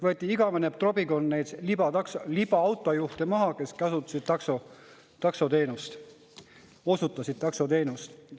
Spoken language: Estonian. Võeti maha igavene trobikond neid libaautojuhte, kes osutasid taksoteenust.